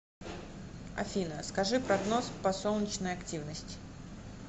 афина скажи прогноз по солнечной активность